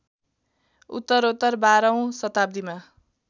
उत्तरोत्तर १२ औँ शताब्दीमा